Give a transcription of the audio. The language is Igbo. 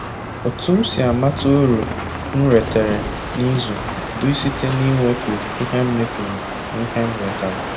Otu m si amata uru m ritere n'izu bụ site na-iwepụ ihe m mefuru n'ihe m retara